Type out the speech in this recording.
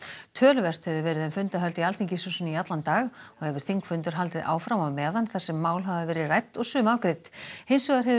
töluvert hefur verið um fundahöld í Alþingishúsinu í allan dag og hefur þingfundur haldið áfram á meðan þar sem mál hafa verið rædd og sum afgreidd hins vegar hefur